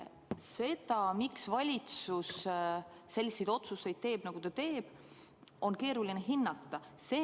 Seda, miks valitsus selliseid otsuseid teeb, nagu ta teeb, on keeruline hinnata.